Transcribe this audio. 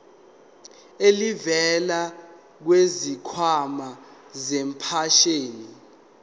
elivela kwisikhwama sempesheni